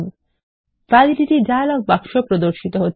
validity dialogue বাক্স এ প্রদর্শিত হচ্ছে